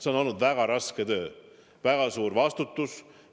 See on olnud väga raske töö, väga suur vastutus.